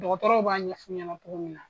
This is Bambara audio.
Dɔgɔtɔrɔw b'a ɲɛf'u ɲɛna cogo min na.